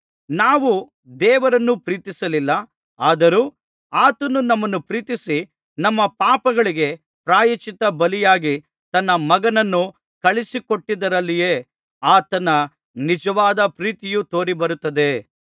ನಾವು ದೇವರನ್ನು ಪ್ರೀತಿಸಿಲ್ಲ ಆದರೂ ಆತನು ನಮ್ಮನ್ನು ಪ್ರೀತಿಸಿ ನಮ್ಮ ಪಾಪಗಳಿಗೆ ಪ್ರಾಯಶ್ಚಿತ್ತ ಬಲಿಯಾಗಿ ತನ್ನ ಮಗನನ್ನು ಕಳುಹಿಸಿಕೊಟ್ಟಿದ್ದರಲ್ಲಿಯೇ ಆತನ ನಿಜವಾದ ಪ್ರೀತಿಯು ತೋರಿಬರುತ್ತದೆ